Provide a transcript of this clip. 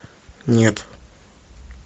нет